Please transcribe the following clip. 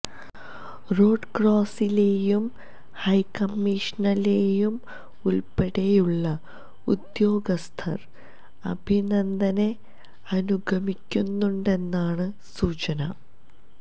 road ക്രോസിലേയും ഹൈക്കമ്മീഷനിലേയും ഉള്പ്പെടെയുള്ള ഉദ്യോഗസ്ഥര് അഭിനന്ദനെ അനുഗമിക്കുണ്ടെന്നാണ് സൂചന